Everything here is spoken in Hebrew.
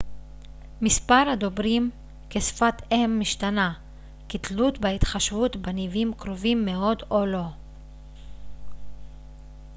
מספר הדוברים כשפת אם משתנה כתלות בהתחשבות בניבים קרובים מאוד או לא